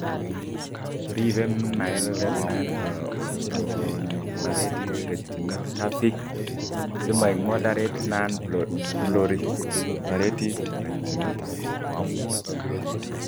ribe mild nonproliferative retinopathy si maek moderate nonproliferative retinopathy